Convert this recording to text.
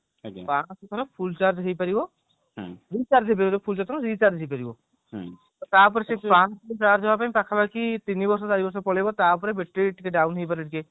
ପାଞ୍ଚଶହ ଥର full charge ହେଇ ପାରିବ ହେଇପାରିବ ତାପରେ ସେ ପଞ୍ଚଶହ ଥର charge ହବା ପାଇଁ ପାଖାପାଖି ତିନିବର୍ଷ ଚାରିବର୍ଷ ପଳେଇବ ତାପରେ battery ଟିକେ down ହେଇପାରେ ଟିକେ